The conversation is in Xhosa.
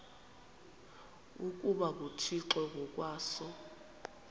ukuba nguthixo ngokwaso